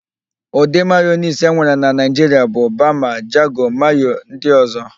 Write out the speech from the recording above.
Ụdị mayonis enwere na Naịjiria bụ: bama, jago, mayo ndị ọ̀zọ́.